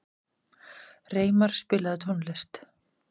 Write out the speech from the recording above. Reimar, spilaðu tónlist.